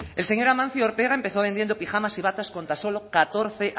el señor amancio ortega empezó vendiendo pijamas y batas con tan solo catorce